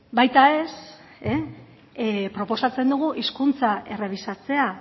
baita ez proposatzen dugu hizkuntza errebisatzea